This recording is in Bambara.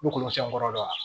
N'o kɔnɔsɛn kɔrɔ yan